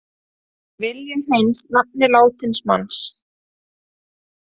Vilja hreins nafn látins manns